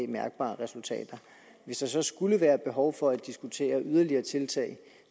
mærkbare resultater hvis der så skulle være behov for at diskutere yderligere tiltag